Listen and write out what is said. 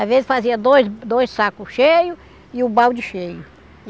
Às vezes fazia dois dois sacos cheios e o balde cheio.